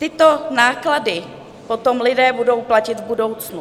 Tyto náklady potom lidé budou platit v budoucnu.